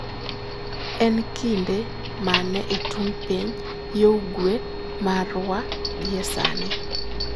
En kinde mane e tung ' piny yo ugwe marwa gie sani